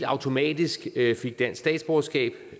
automatisk fik dansk statsborgerskab